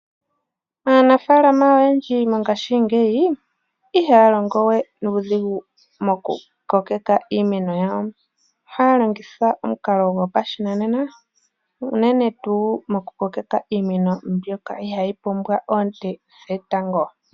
Aanafalama oyendji mongashingeyi ihaya longo we nuudhigu mokukokeka iimeno yawo ohaya longitha omukalo gopashinanena uunene tuu mokukokeka iimeno mbyoka ihayi pumbwa oonte dhetango.